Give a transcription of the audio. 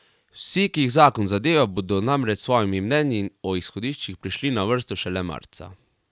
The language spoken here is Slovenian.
Vsi, ki jih zakon zadeva, bodo namreč s svojimi mnenji o izhodiščih prišli na vrsto šele marca.